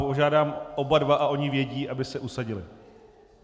Požádám oba dva, a oni vědí, aby se usadili.